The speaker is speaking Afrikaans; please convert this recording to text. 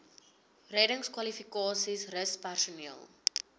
reddingskwalifikasies rus personeel